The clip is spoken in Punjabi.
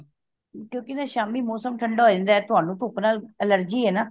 ਕਿਉਂਕਿ ਸ਼ਾਮੀ ਮੌਸਮ ਠੰਡਾ ਹੋ ਜਾਂਦਾ ਤੁਹਾਨੂੰ ਧੁੱਪ ਨਾਲ allergy ਏ ਨਾ